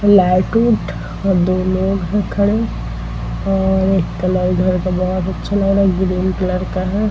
Light -उट और लोग हैं खड़े और एक कलर घर का बोहोत अच्छा लग रहा है। ग्रीन कलर का है।